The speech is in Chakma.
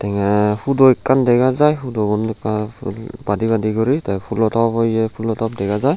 ye pudu ekkan dega jai pudun ekka badi badi guri tey fulo top o ye fulo top dega jai.